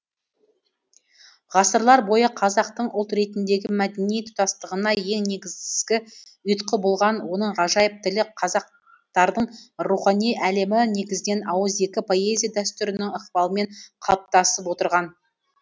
ғасырлар бойы қазақтың ұлт ретіндегі мәдени тұтастығына ең негізгі ұйытқы болған оның ғажайып тілі қазақтардың рухани әлемі негізінен ауызекі поэзия дәстүрінің ықпалымен қалыптасып отырған